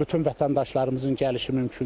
bütün vətəndaşlarımızın gəlişi mümkün deyil.